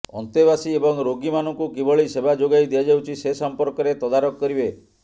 ଅନ୍ତେବାସୀ ଏବଂ ରୋଗୀ ମାନଙ୍କୁ କିଭଳି ସେବା ଯୋଗାଇ ଦିଆଯାଉଛି ସେ ସମ୍ପର୍କରେ ତଦାରଖ କରିବେ